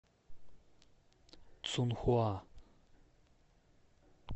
цунхуа